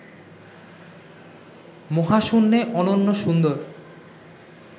মহাশূন্যে অনন্য সুন্দর